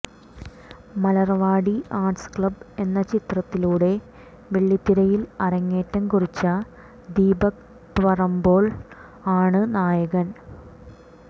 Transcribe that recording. Malarvadi arts club എന്ന ചിത്രത്തിലൂടെ വെള്ളിത്തിരയിൽ അരങ്ങേറ്റം കുറിച്ച ദീപക് പറമ്പോൾ ആണ് നായകൻ